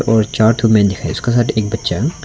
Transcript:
और चार ठो मैन है इसका साथ एक बच्चा--